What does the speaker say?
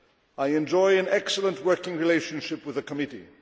I enjoy an excellent working relationship with the committee.